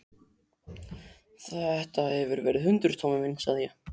Þetta hefur verið hundur, Tommi minn, sagði ég.